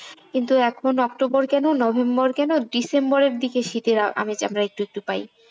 কিন্তু এখন অক্টোবর কেন নভেম্বর কেন ডিসেম্বরের দিকে শীতের আমেজ আমরা একটু একটু পাই।